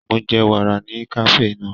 Mo jẹ wàrà ní kafe náà.